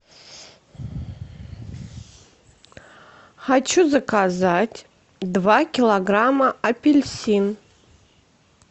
хочу заказать два килограмма апельсин